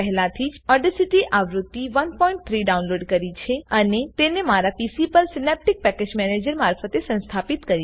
મેં પહેલાથી જ ઓડેસીટી આવૃત્તિ 13 ડાઉનલોડ કરી છે અને તેને મારા પીસી પર સીનેપ્ટીક પેકેજ મેનેજર મારફતે સંસ્થાપિત કરી